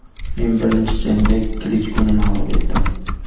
Men birinchi jangda Klichkoni mag‘lub etdim.